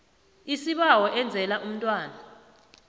isibawo enzela umntwana